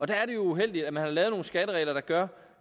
der er det jo uheldigt at man har lavet nogle skatteregler der gør